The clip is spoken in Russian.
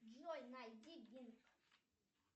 джой найди бинг